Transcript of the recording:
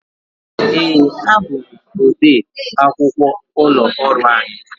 Ee, abụ m ọde akwụkwọ ụlọ ọrụ anyị.